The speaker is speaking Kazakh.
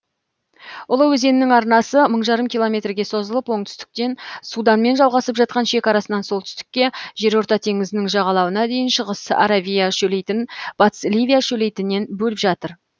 ұлы өзеннің арнасы мың жарым километрге созылып оңтүстіктен суданмен жалғасып жатқан шекарасынан солтүстікке жерорта теңізінің жағалауына дейін шығыс аравия шөлейтін батыс ливия шөлейтінен бөліп жатыр